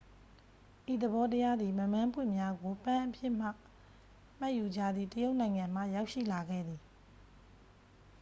ဤသဘောတရားသည် မက်မန်းပွင့်များကို ပန်းအဖြစ်မှတ်ယူကြသည့် တရုတ်နိုင်ငံမှ ရောက်ရှိလာခဲ့သည်